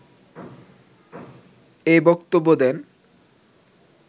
এ বক্তব্য দেন